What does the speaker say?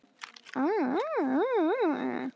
Bænir hennar munu fylgja þeim.